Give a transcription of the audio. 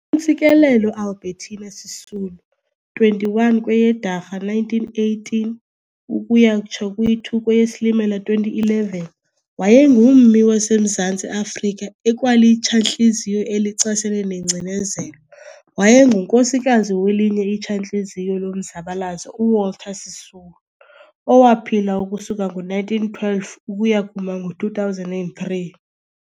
ntsikelelo Albetina Sisulu, 21 kweyeDwarha 1918 ukuya kutsho kwi-2 kweyeSilimela 2011, wayengummi waseMzantsi Afrika ekwalitshantliziyo elichasene nengcinezelo, wayengunkosikazi welinye itshantliziyo lomzabalazo uWalter Sisulu, owaphila ukusuka ngo-1912 ukuya kuma ngo-2003.